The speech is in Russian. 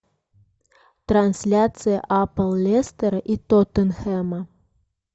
трансляция апл лестера и тоттенхэма